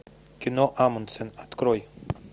кино амундсен открой